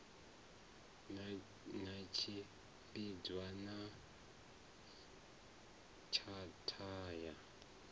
na tshimbidzana na tshatha ya